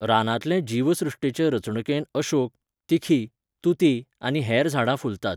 रानांतले जिवसृश्टेचे रचणुकेंत अशोक, तिखी, तुती आनी हेर झाडां फुलतात.